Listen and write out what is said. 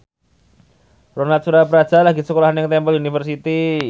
Ronal Surapradja lagi sekolah nang Temple University